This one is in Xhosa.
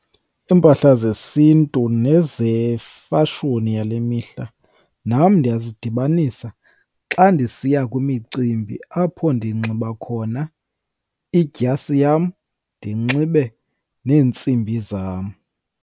Iimpahla zesiNtu nezefashoni yale mihla nam ndiya zidibanisa xa ndisiya kwimicimbi apho ndinxiba khona idyasi yam, ndinxibe neentsimbi zam.